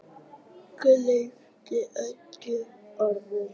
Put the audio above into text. Gleymdi öllu öðru.